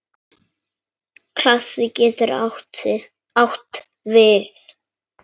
Klasi getur átt við